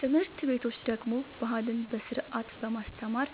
ትምህርት ቤቶች ደግሞ ባህልን በስርዓት በማስተማር